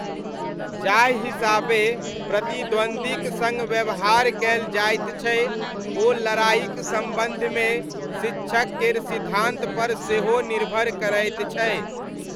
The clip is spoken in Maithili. जाहि हिसाबे प्रतिद्वन्द्वीक सङ्ग व्यवहार कयल जायत छै ओ लड़ाइक सम्बन्धमे शिक्षक केर सिद्धान्तपर सेहो निर्भर करैत छै।